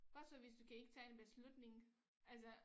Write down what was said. Hvad så hvis du kan ikke tage en beslutning altså